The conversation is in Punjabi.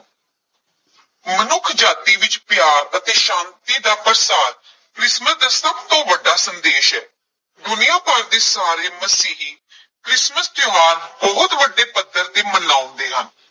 ਮਨੁੱਖਜਾਤੀ ਵਿਚ ਪਿਆਰ ਅਤੇ ਸ਼ਾਂਤੀ ਦਾ ਪ੍ਰਸਾਰ ਕ੍ਰਿਸਮਿਸ ਦਾ ਸਭ ਤੋਂ ਵੱਡਾ ਸੰਦੇਸ਼ ਹੈ, ਦੁਨੀਆਂ ਭਰ ਦੇ ਸਾਰੇ ਮਸੀਹੀ ਕ੍ਰਿਸਮੈਸ ਤਿਉਹਾਰ ਬਹੁਤ ਵੱਡੇ ਪੱਧਰ ਤੇ ਮਨਾਉਂਦੇ ਹਨ।